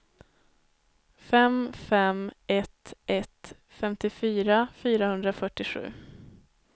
fem fem ett ett femtiofyra fyrahundrafyrtiosju